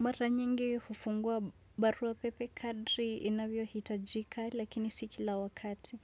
Mbara nyingi hufungua barua pepe kadri inavyohitajika lakini si kila wakati.